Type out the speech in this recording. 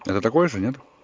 это такой же нет